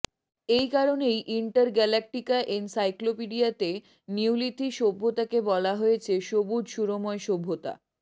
এই কারণেই inter galactica এনসাইক্লোপিডিয়াতে নিওলিথি সভ্যতাকে বলা হয়েছে সবুজ সুরময় সভ্যতা